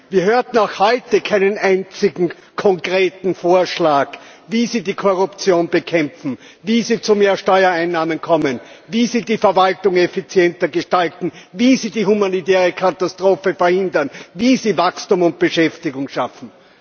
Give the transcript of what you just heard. Wir hörten auch heute keinen einzigen konkreten Vorschlag, wie Sie die Korruption bekämpfen, wie Sie zu mehr Steuereinnahmen kommen, wie Sie die Verwaltung effizienter gestalten, wie Sie die humanitäre Katastrophe verhindern, wie Sie Wachstum und Beschäftigung schaffen.